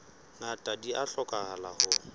ngata di a hlokahala ho